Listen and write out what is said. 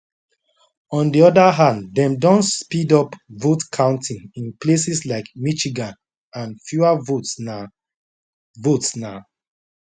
on di oda hand dem don speed up votecounting in places like michigan and fewer votes na votes na